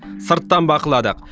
сырттан бақыладық